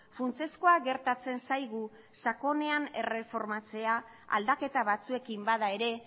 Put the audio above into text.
funtsezkoa gertatzen zaigu sakonean erreformatzea aldaketa batzuekin bada ere